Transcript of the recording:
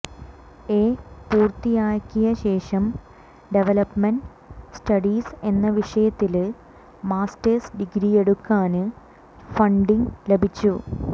A പൂര്ത്തിയാക്കിയശേഷം development studies എന്ന വിഷയത്തില് മാസ്റ്റേഴ്സ് ഡിഗ്രിയെടുക്കാന് ഫണ്ടിങ് ലഭിച്ചു